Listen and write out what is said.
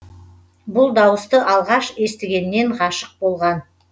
бұл дауысты алғаш естігеннен ғашық болған